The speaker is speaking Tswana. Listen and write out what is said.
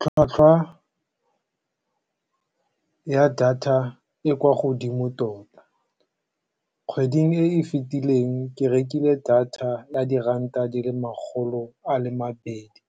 Tlhwatlhwa ya data e kwa godimo tota. Kgweding e e fetileng ke rekile data ya diranta di le makgolo a le mabedi